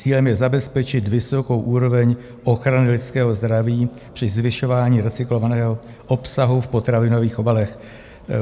Cílem je zabezpečit vysokou úroveň ochrany lidského zdraví při zvyšování recyklovaného obsahu v potravinových obalech.